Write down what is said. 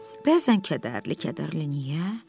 Bəzən kədərli-kədərli, niyə?